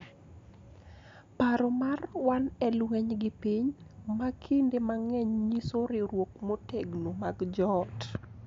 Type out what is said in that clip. Paro mar "wan e lweny gi piny" ma kinde mang'eny nyiso riwruok motegno mag joot